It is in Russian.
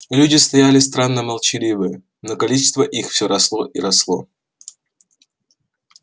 люди стояли странно молчаливые но количество их все росло и росло